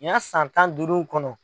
Ni y'a san tan ni duuru kɔnɔ.